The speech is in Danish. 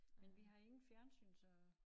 Men vi har ingen fjernsyn så